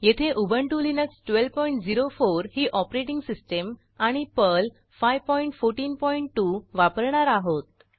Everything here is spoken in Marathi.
येथे उबंटु लिनक्स 1204 ही ऑपरेटिंग सिस्टीम आणि पर्ल 5142 वापरणार आहोत